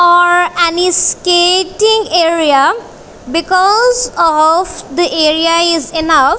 or and is skating area because of the area is enough.